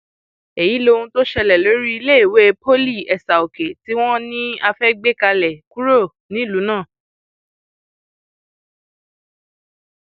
èyí lohun tó ṣẹlẹ lórí iléèwé poly esaòkè tí wọn um ní a fẹẹ gbé kúrò um nílùú náà